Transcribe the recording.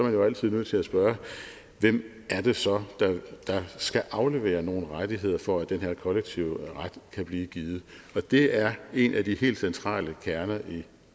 jo altid nødt til at spørge hvem det så er der skal aflevere nogle rettigheder for at den her kollektive ret kan blive givet det er en af de helt centrale kerner i